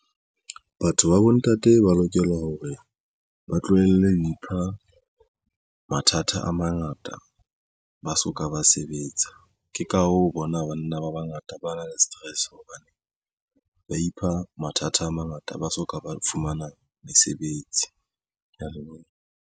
Batho ba bontate ba lokela hore ba tlohelle ho ipha mathata a mangata ba soka ba sebetsa ke ka hoo o bona banna ba bangata ba na le stress hobane ba ipha mathata a mangata ba soka ba fumana mesebetsi. ke ya leboha.